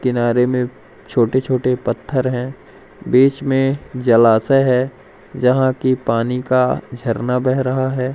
किनारे में छोटे-छोटे पत्थर हैं बीच में जलाशय है जहां की पानी का झरना बह रहा है।